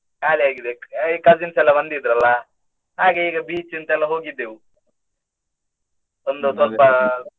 ಖಾಲಿಯಾಗಿದೆ cousins ಎಲ್ಲಾ ಬಂದಿದ್ರಲ್ಲ, ಹಾಗೆ ಹೀಗೆ beach ಅಂತ ಎಲ್ಲಾ ಹೋಗಿದ್ದೆವು. ಒಂದು ಸ್ವಲ್ಪ.